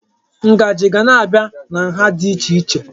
Ngaji ga na-abịa na nha dị iche iche.